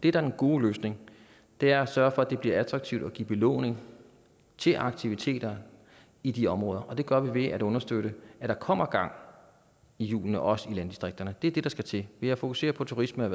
er den gode løsning er at sørge for at det bliver attraktivt at give belåning til aktiviteter i de områder og det gør vi ved at understøtte at der kommer gang i hjulene også i landdistrikterne det er det der skal til ved at fokusere på turisme